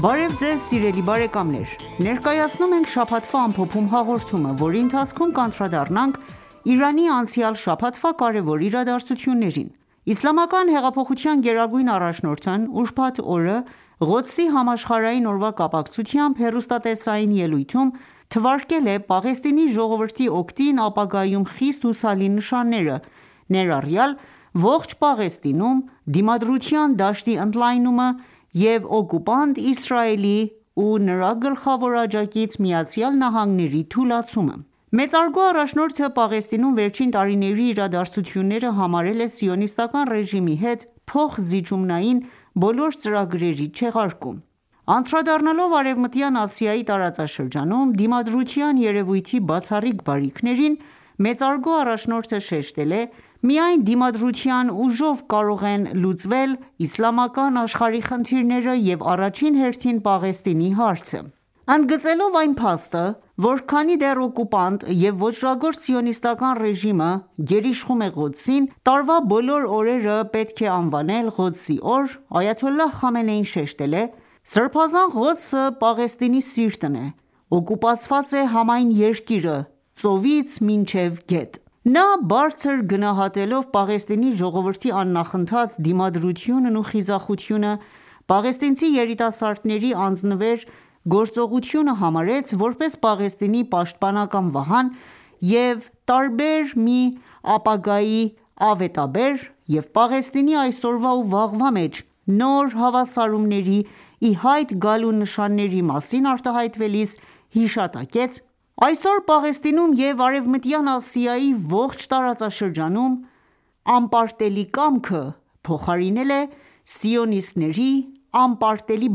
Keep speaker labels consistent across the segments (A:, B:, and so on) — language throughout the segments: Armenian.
A: Բարև Ձեզ սիրելի բարեկամներ: Ներկայացնում ենք «Շաբաթվա ամփոփում» հաղորդումը, որի ընթացքում կանդրադառնանք Իրանի անցյալ շաբաթվա կարևոր իրադարձություններին: Իսլամական հեղափոխության գերագույն առաջնորդն ուրբաթ օրը Ղոդսի համաշխարհային օրվա կապակցությամբ հեռուստատեսային ելույթում, թվարկել է Պաղեստինի ժողովրդի օգտին ապագայում խիստ հուսալի նշանները, ներառյալ ողջ Պաղեստինում ,դիմադրության դաշտի ընդլայնումը և օկուպանտ Իսրայելի ու նրա գլխավոր աջակից ԱՄՆ-ի թուլացումը: Մեծարգո առաջնորդը Պաղեստինում վերջին տարիների իրադարձությունները համարել է Սիոնիստական ​​ռեժիմի հետ փոխզիջումային բոլոր ծրագրերի չեղարկում։ Անդրադառնալով Արևմտյան Ասիայի տարածաշրջանում դիմադրության երևույթի բացառիկ բարիքներին, մեծարգո առաջնորդը շեշտել է.«Միայն դիմադրության ուժով կարող են լուծվել իսլամական աշխարհի խնդիրները և, առաջին հերթին, Պաղեստինի հարցը»։ Ընդգծելով այն փաստը, որ քանի դեռ օկուպանտ և ոճրագործ սիոնիստական ​​ռեժիմը գերիշխում է Ղոդսին, տարվա բոլոր օրերը պետք է անվանել Ղոդսի օր, Այաթոլլահ Խամենեին շեշտել է.«Սրբազան Ղոդսը ,Պաղեստինի սիրտն է ,օկուպացված է համայն երկիրը՝ծովից մինչև գետ»: Նա բարձր գնահատելով Պաղեստինի ժողովրդի աննախընթաց դիմադրությունն ու խիզախությունը, պաղեստինցի երիտասարդների անձնվեր գործողությունը համարեց, որպես Պաղեստինի պաշտպանական վահան և տարբեր մի ապագայի ավետաբեր և Պաղեստինի այսօրվա ու վաղվա մեջ նոր հավասարումների ի հայտ գալու նշանների մասին արտահայտելիս հիշատակեց.«Այսօր, Պաղեստինում և Արևմտյան Ասիայի ողջ տարածաշրջանում «Անպարտելի կամքը» փոխարինել է ՝սիոնիստների .«անպարտելի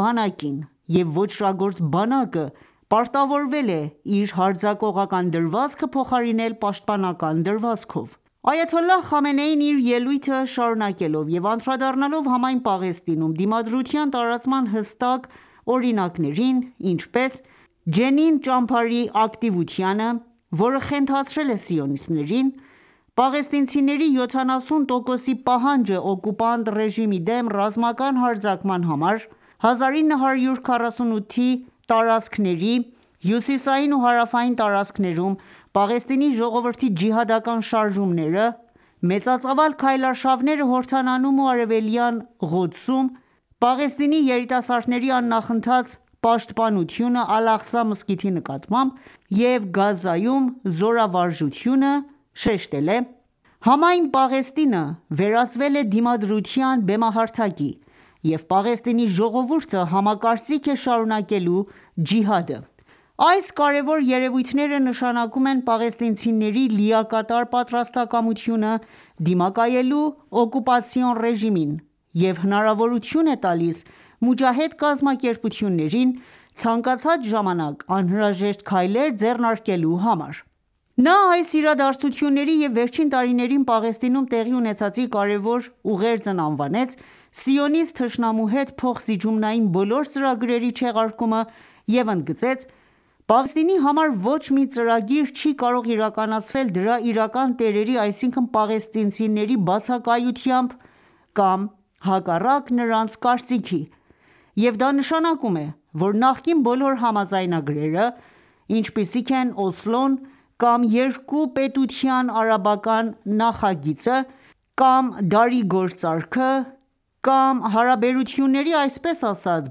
A: բանակին»,և ոճրագործ բանակը պարտավորվել է իր հարձակողական դրվածքը փոխարինել պաշտպանական դրվածքով: Այաթոլլահ Խամենեին իր ելույթը շարունակելով և անդրադառնալով համայն Պաղեստինում դիմադրության տարածման հստակ օրինակներին, ինչպես՝Ջենին ճամբարի ակտիվությանը ,որը խենթացրել է սիոնիստներին, պաղեստինցիների 70 տոկոսի պահանջը՝օկուպանտ ռեժիմի դեմ ռազմական հարձակման համար ,1948 -ի տարածքների հյուսիսային ու հարավային տարածքներում Պաղեստինի ժողովրդի ջիհադական շարժումները ,մեծածավալ քայլարշավները Հորդանանում ու արևելյան Ղոդսում ,Պաղեստինի երիտասարդների աննախընթաց պաշտպանությունը Ալ-Աղսա մզկիթի նկատմամբ և Գազայում զորավարժությունը ,շեշտել է.«Համայն Պաղեստինը վերածվել է դիմադրության բեմահարթակի, և Պաղեստինի ժողովուրդը համակարծիք է շարունակելու ջիհադը։ Այս կարևոր երևույթները նշանակում են պաղեստինցիների լիակատար պատրաստակամությունը՝ դիմակայելու օկուպացիոն ռեժիմին.և հնարավորություն է տալիս մոջահեդ կազմակերպություններին, ցանկացած ժամանակ անհրաժեշտ քայլեր ձեռնարկելու համար»: Նա այս իրադարձությունների և վերջին տարիներին Պաղեստինում տեղի ունեցածի կարևոր ուղերձն անվանեց՝ սիոնիստ թշնամու հետ փոխզիջումային բոլոր ծրագրերի չեղարկումը և ընդգծեց.«Պաղեստինի համար ոչ մի ծրագիր չի կարող իրականացվել դրա իրական տերերի, այսինքն ՝ պաղեստինցիների բացակայությամբ կամ հակառակ նրանց կարծիքի և դա նշանակում է, որ նախկին բոլոր համաձայնագրերը, ինչպիսիք են՝ Օսլոն, կամ երկու պետության արաբական նախագիծը, կամ դարի գործարքը, կամ հարաբերությունների այսպես ասած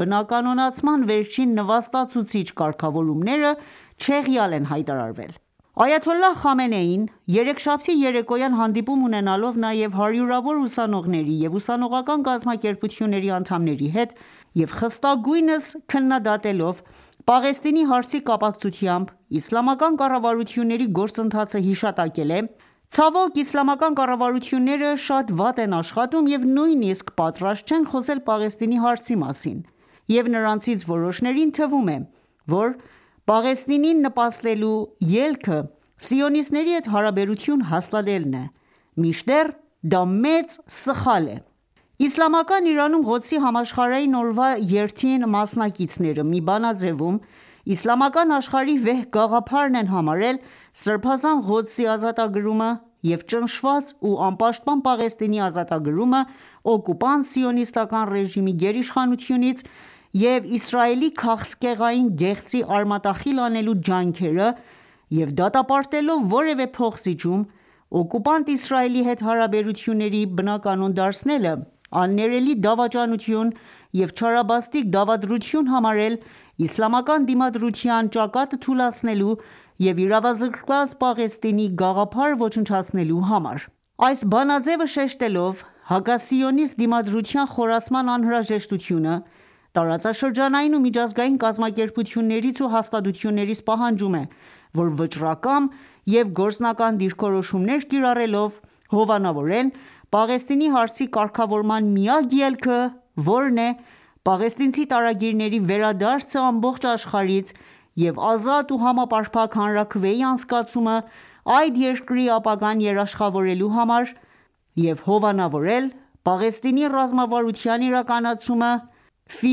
A: բնականոնացման վերջին նվաստացուցիչ կարգավորումները,, չեղյալ են հայտարարվել»: Այաթոլլահ Խամենեին ,երեքշաբթի երեկոյան հանդիպում ունենալով նաև հարյուրավոր ուսանողների և ուսանողական կազմակերպությունների անդամների հետ,և խստագույնս քննադատելով Պաղեստինի հարցի կապացկությամբ Իսլամական կառավարությունների գործընթացը, հիշատակել է .«Ցավոք Իսլամական կառավարությունները շատ վատ են աշխատում և նույնիսկ պատրաստ չեն խոսել Պաղեստինի հարցի մասին և նրանցից որոշներին թվում է ,որ Պաղեստինին նպաստելու ելքը ,սիոնիստների հետ հարաբերություն հաստատելն է ,մինչդեռ դա մեծ սխալ է»: Իսլամական Իրանում ,Ղոդսի համաշխարհային օրվա երթին մասնակիցները մի բանաձևում Իսլամական աշխարհի վեհ գաղափարն են համարել ՝Սրբազան Ղոդսի ազատագրումը և ճնշված ու անպաշտպան Պաղեստինի ազատագրումը օկուպանտ սիոնիստական ​​ռեժիմի գերիշխանությունից և Իսրայելի քաղցկեղային գեղձի արմատախիլ անելու ջանքերը և դատապարտելով որևէ փոխզիջում ,օկուպանտ Իսրայելի հետ հարաբերությունների բնականոն դարձնելը՝աններելի դավաճանություն և չարաբաստիկ դավադրություն համարել՝ իսլամական դիմադրության ճակատը թուլացնելու և իրավազրկված Պաղեստինի գաղափարը ոչնչացնելու համար: Այս բանաձևը շեշտելով հակասիոնիստ դիմադրության խորացման անհրաժեշտությունը ,տարածաշրջանային ու միջազգային կազմակերպություններից ու հաստատություններից պահանջում է ,որ վճռակամ և գործնական դիրքորոշումներ կիրառելով ,հովանավորեն Պաղեստինի հարցի կարգավորման միակ ելքը ,որն է՝«Պաղեստինցի տարագիրների վերադարձը ամբողջ աշխարհից եւ ազատ ու համապարփակ հանրաքվեի անցկացումը՝այդ երկրի ապագան երաշխավորելու համար» եւ հովանավորել ՝Պաղեստինի ռազմավարության իրականացումը՝ «Ֆի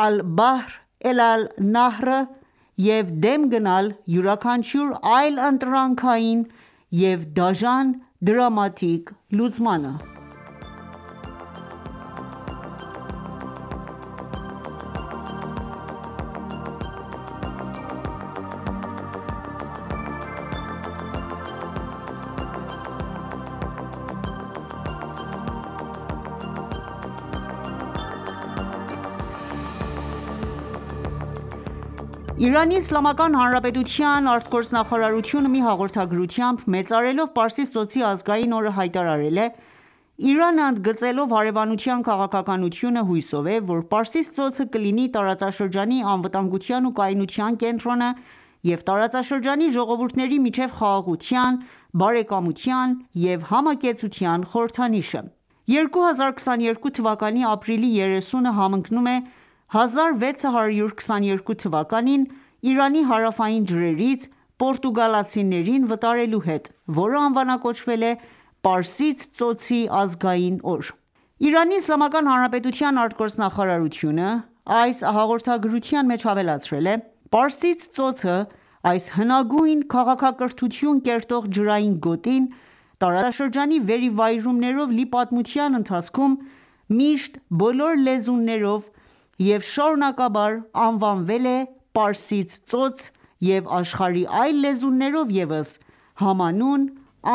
A: ալ-Բահր էլա ալ-Նահր»-ը և դեմ գնալ յուրաքանչյուր այլընտրանքային եւ դաժան դրամատիկ լուծմանը»: Իրանի Իսլ.Հանրապետության արտգործնախարարությունը ,մի հաղորդագրությամբ ,մեծարելով Պարսից ծոցի ազգային օրը հայտարարել է.«Իրանը ընդգծելով հարևանության քաղաքականությունը, հուսով է, որ Պարսից ծոցը կլինի տարածաշրջանի անվտանգության ու կայունության կենտրոնը եւ տարածաշրջանի ժողովուրդների միջեւ խաղաղության, բարեկամության եւ համակեցության խորհրդանիշը»: 2022 թվականի ապրիլի 30-ը համընկնում է 1622 թվականին Իրանի հարավային ջրերից պորտուգալացիներին վտարելու հետ ,որը անվանակոչվել է Պարսից ծոցի ազգային օր: Իրանի Իսլամական Հանրապետության արտգործնախարարությունը այս հաղորդագրության մեջ ավելացրել է.«Պարսից ծոցը, այս հնագույն քաղաքակրթություն կերտող ջրային գոտին, տարածաշրջանի վերիվայրումներով լի պատմության ընթացքում, միշտ բոլոր լեզուներով և շարունակաբար անվանվել է Պարսից ծոց և աշխարհի այլ լեզուներով ևս համանուն անվանումով»: ԻԻՀ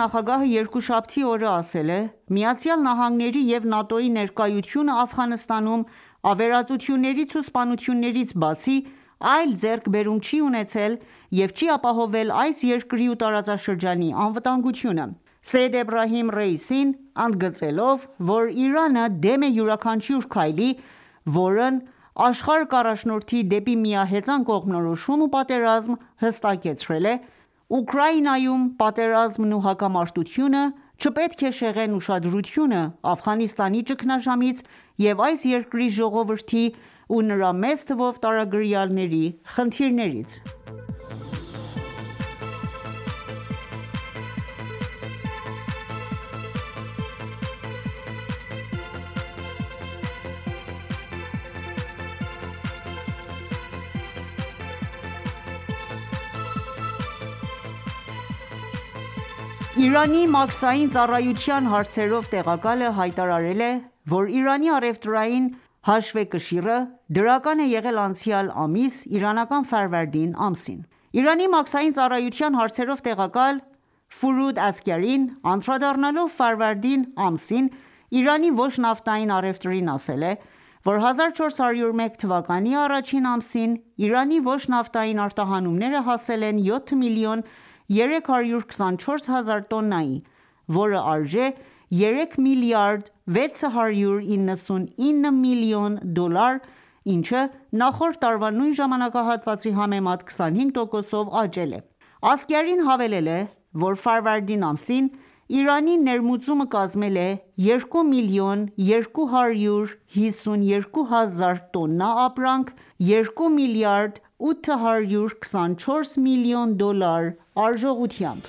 A: նախագահը երկուշաբթի օրը ասել է.«ԱՄՆ-ի և ՆԱՏՕ-ի ներկայությունը Աֆղանստանում ավերածություններից ու սպանություններից բացի այլ ձեռքբերում չի ունեցել, և չի ապահովել այս երկրի ու տարածաշրջանի անվտանգությունը»։ Սեյեդ Էբրահիմ Ռայիսին ընդգծելով ,որ «Իրանը դեմ է յուրաքանչյուր քայլի, որն աշխարհը կառաջնորդի դեպի միահեծան կողմնորոշում ու պատերազմ, հստակեցրել է.« Ուկրաինայում պատերազմն ու հակամարտությունը չպետք է շեղեն ուշադրությունը՝ Աֆղանստանի ճգնաժամից և այս երկրի ժողովրդի ու նրա մեծ թվով տարագրյալների խնդիրներից։ Իրանի մաքսային ծառայության հարցերով տեղակալը հայտարարել է, որ Իրանի առևտրային հաշվեկշիռը դրական է եղել անցյալ ամիս (իրանական Ֆարվարդին ամսին): Իրանի մաքսային ծառայության հարցերով տեղակալ Ֆուրուդ Ասգարին անդրադառնալով ֆարվարդինի ամսին Իրանի ոչ նավթային առևտրին ասել է,որ 1401 թվականի առաջին ամսին ,Իրանի ոչ նավթային արտահանումները հասել են 7 միլիոն 324 հազար տոննայի ,որը արժե՝ 3 միլիարդ 699 միլիոն դոլար, ինչը նախորդ տարվա նույն ժամանակահատվածի համեմատ 25%-ով աճել է։ Ասգարին հավելել է, որ Ֆարվարդին ամսին, Իրանի ներմուծումը կազմել է 2 մլն 252 հազար տոննա ապրանք՝ 2 մլրդ 824 մլն դոլար արժողությամբ: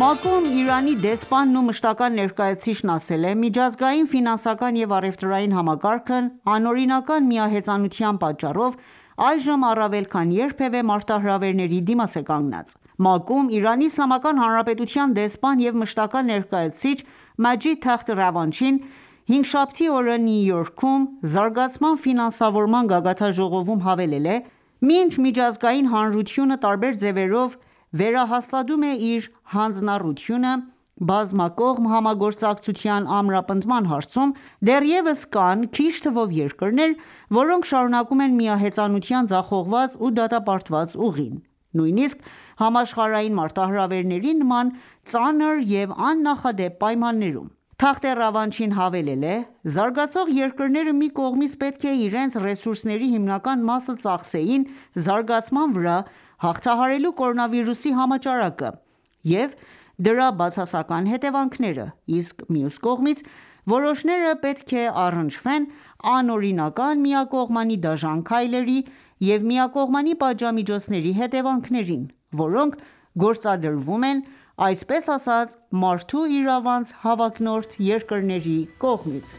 A: ՄԱԿ-ում ,Իրանի դեսպանն ու մշտական ​​ներկայացուցիչն ասել է.«Միջազգային ֆինանսական և առևտրային համակարգն, անօրինական միահեծանության պատճառով այժմ առավել քան երբևէ մարտահրավերի դիմաց է կանգնած»: ՄԱԿ-ում Իրանի Իսլամական Հանրապետության դեսպան և մշտական ​​ներկայացուցիչ Մաջիդ Թախթ Ռավանչին հինգշաբթի օրը Նյու Յորքում՝ Զարգացման ֆինանսավորման գագաթնաժողովում հավելել է.«Մինչ ,միջազգային հանրությունը տարբեր ձևերով վերահաստատում է իր հանձնառությունը բազմակողմ համագործակցության ամրապնդման հարցում, դեռևս կան քիչ թվով երկրներ, որոնք շարունակում են միահեծանության ձախողված ու դատապարտված ուղին, նույնիսկ համաշխարհային մարտահրավերների նման ծանր և աննախադեպ պայմաններում»։ Թախթ Ռավանչին հավելել է.«Զարգացող երկրները, մի կողմից, պետք է իրենց ռեսուրսների հիմնական մասը ծախսեին զարգացման վրա՝ հաղթահարելու կորոնավիրուսի համաճարակը և դրա բացասական հետևանքները, իսկ մյուս կողմից, որոշները պետք է առնչվեն անօրինական միակողմանի դաժան քայլերի և միակողմանի պատժամիջոցների հետևանքներին, որոնք գործադրվում են այսպես ասած մարդու իրավանց հավակնորդ երկրների կողմից»: